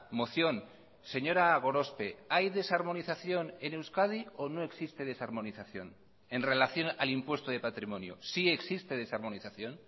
moción señora gorospe hay desarmonización en euskadi o no existe desarmonización en relación al impuesto de patrimonio sí existe desarmonización